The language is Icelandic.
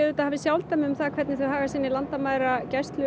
hafi sjálfdæmi um það hvernig þau haga sinni landamæragæslu